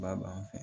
Ba b'an fɛ